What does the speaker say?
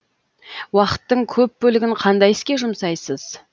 уақыттың көп бөлігін қандай іске жұмсайсыз